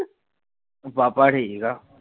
ਪਾਪਾ ਠੀਕ ਆ